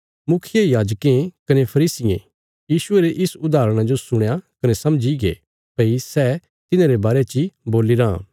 मुखियायाजकें कने फरीसियें यीशुये रे इस उदाहरणा जो सुणया कने समझीगे भई सै तिन्हारे बारे ची बोलीराँ